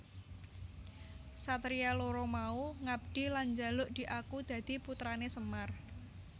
Satria loro mau ngabdi lan njaluk diaku dadi putrané Semar